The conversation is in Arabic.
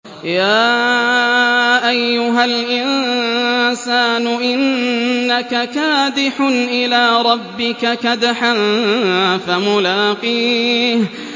يَا أَيُّهَا الْإِنسَانُ إِنَّكَ كَادِحٌ إِلَىٰ رَبِّكَ كَدْحًا فَمُلَاقِيهِ